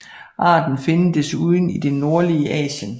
Arten findes desuden i det nordlige Asien